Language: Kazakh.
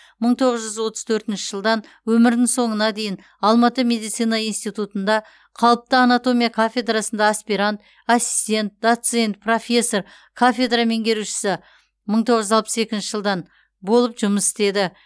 мың тоғыз жүз отыз төртінші жылдан өмірінің соңына дейін алматы медицина институтында қалыпты анатомия кафедрасында аспирант ассистент доцент профессор кафедра меңгерушісі мың тоғыз жүз алпыс екінші жылдан болып жұмыс істеді